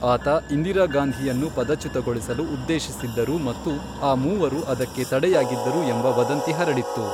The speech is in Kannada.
ಆತ ಇಂದಿರಾ ಗಾಂಧಿಯನ್ನು ಪದಚ್ಯುತಗೊಳಿಸಲು ಉದ್ದೇಶಿಸಿದ್ದರು ಮತ್ತು ಆ ಮೂವರು ಅದಕ್ಕೆ ತಡೆಯಾಗಿದ್ದರು ಎಂಬ ವದಂತಿ ಹರಡಿತ್ತು.